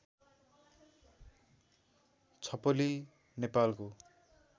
छपली नेपालको